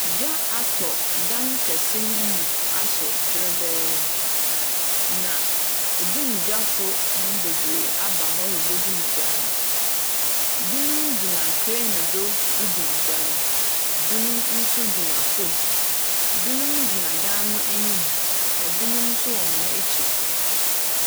Gya atɔ dan kɛse no mu. Ahyew dwerebɛɛ. Na edumgyafo no beberee aba hɔ redum gya no. Ebinom gyina krane do redum gya no. Ebinom nso gyina fam. Ebinom gyina dan no anim. Na ebinom nso wɔ wɔn akyi.